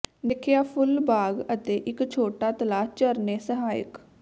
ਦੇਖਿਆ ਫੁੱਲ ਬਾਗ ਅਤੇ ਇੱਕ ਛੋਟਾ ਤਲਾਅ ਝਰਨੇ ਸਾਹਾਇਕ